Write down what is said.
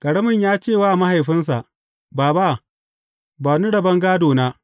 Ƙaramin ya ce wa mahaifinsu, Baba, ba ni rabon gādona.’